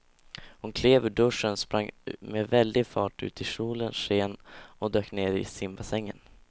Hon klev ur duschen, sprang med väldig fart ut i solens sken och dök ner i simbassängen.